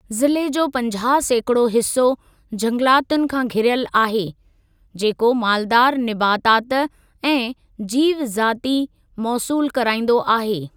ज़िले जो पंजाह सैकिड़ो हिस्सो झंगलातुनि खां घिरयलु आहे, जेको मालदारु निबातात ऐं जीव ज़ाति मौसूलु कराईंदो आहे।